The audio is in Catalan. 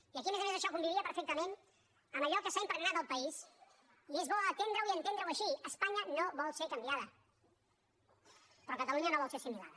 i aquí a més a més això convivia perfectament amb allò que s’ha impregnat al país i és bo atendreho i entendre ho així espanya no vol ser canviada però catalunya no vol ser assimilada